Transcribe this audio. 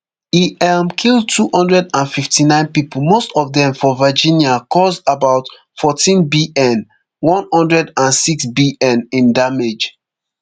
e um kill two hundred and fifty-nine pipo most of dem for virginia cause about fourteenbn one hundred and sixbn in damage